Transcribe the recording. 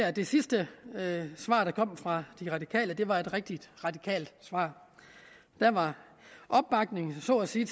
at det sidste svar der kom fra de radikale var et rigtig radikalt svar der var så at sige